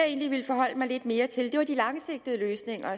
egentlig ville forholde mig lidt mere til var de langsigtede løsninger